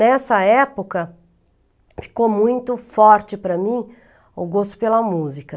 Nessa época, ficou muito forte para mim o gosto pela música.